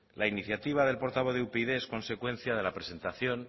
la iniciativa del portavoz de upyd es consecuencia de la presentación